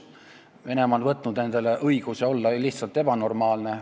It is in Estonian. Venemaa on võtnud endale õiguse olla lihtsalt ebanormaalne.